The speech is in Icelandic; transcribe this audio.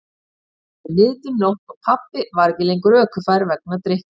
Þá var komin niðdimm nótt og pabbi ekki lengur ökufær vegna drykkju.